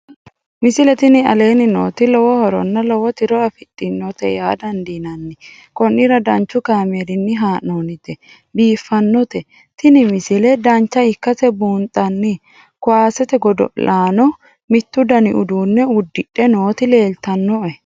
misile tini aleenni nooti lowo horonna lowo tiro afidhinote yaa dandiinanni konnira danchu kaameerinni haa'noonnite biiffannote tini misile dancha ikkase buunxanni kuwaasete godo'laano mittu dani uduunne uddidhe nooti leeltannoe